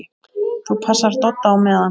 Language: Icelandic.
ÞÚ PASSAR DODDA Á MEÐAN!